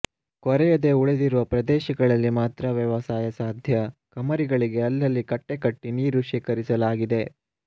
ಕೊರೆಯದೆ ಉಳಿದಿರುವ ಪ್ರದೇಶದಲ್ಲಿ ಮಾತ್ರ ವ್ಯವಸಾಯ ಸಾಧ್ಯ ಕಮರಿಗಳಿಗೆ ಅಲ್ಲಲ್ಲಿ ಕಟ್ಟೆ ಕಟ್ಟಿ ನೀರು ಶೇಖರಿಸಲಾಗಿದೆ